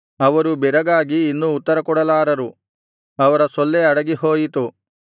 ಅವರು ಬೆರಗಾಗಿ ಇನ್ನು ಉತ್ತರಕೊಡಲಾರರು ಅವರ ಸೊಲ್ಲೇ ಅಡಗಿಹೋಯಿತು